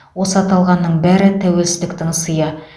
осы аталғанның бәрі тәуелсіздіктің сыйы